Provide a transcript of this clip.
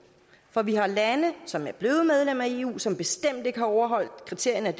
for vi har lande som er blevet medlem af eu som bestemt ikke har overholdt kriterierne